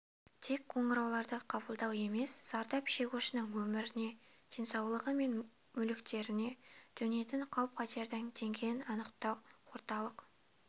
тек қоңырауларды қабылдау емес зардап шегушінің өміріне денсаулығы мен мүліктеріне төнетін қауіп-қатердің деңгейін анықтау орталық